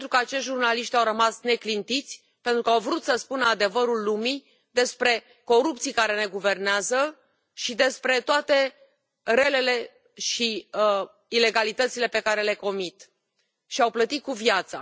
Pentru că acei jurnaliști au rămas neclintiți, pentru că au vrut să spună adevărul lumii despre corupții care ne guvernează și despre toate relele și ilegalitățile pe care le comit și au plătit cu viața.